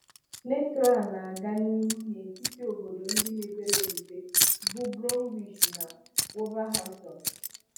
Metro a na - aga n'ihu n'etiti obodo ndị mepere emepe bụ Bromwich na wolverhamptpn